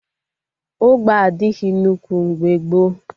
Ụgbọ adịghị nnukwu mgbe gboo